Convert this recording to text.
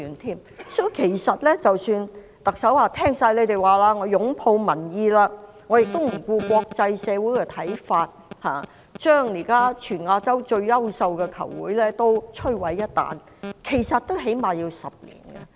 即使特首表示，完全接納你們的意見，擁抱民意，不理會國際社會的看法，將現在全亞洲最優秀的球會毀於一旦，其實起碼要10年。